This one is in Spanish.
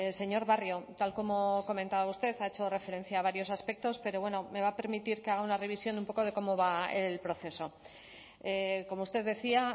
señor barrio tal como comentaba usted ha hecho referencia a varios aspectos pero bueno me va a permitir que haga una revisión un poco de cómo va el proceso como usted decía